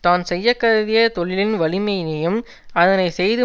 தான் செய்ய கருதிய தொழிலின் வலிமையினையும் அதனை செய்து